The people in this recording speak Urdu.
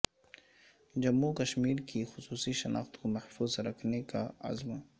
جموں وکشمیرکی خصوصی شناخت کو محفوظ رکھنے کا عزم